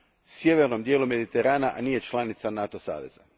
sjevernom dijelu Mediterana, a nije članica NATO saveza.